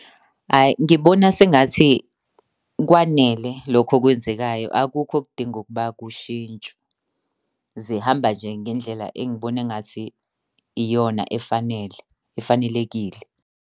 Hhayi ngibona sengathi kwanele lokho okwenzekayo, akukho okudinga ukuba kushintshwe. Zihamba nje ngendlela engibona engathi iyona efanele efanelekile.